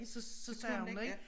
Så så sagde hun det ik